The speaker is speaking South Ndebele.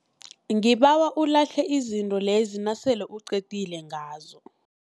Ngibawa ulahle izinto lezi nasele uqedile ngazo.